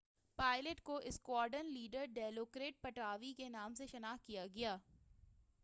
pilot کو squadron leader ڈیلوکرٹ پٹاوی کے نام سے شناخت کیا گیا